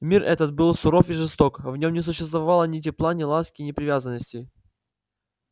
мир этот был суров и жесток в нём не существовало ни тепла ни ласки ни привязанностей